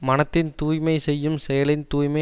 மனத்தின் தூய்மை செய்யும் செயலின் தூய்மை